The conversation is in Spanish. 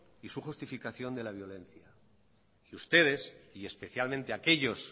y su justificación de la violencia y ustedes y especialmente aquellos